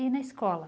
E na escola?